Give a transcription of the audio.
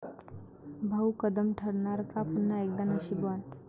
भाऊ कदम ठरणार का पुन्हा एकदा 'नशीबवान'?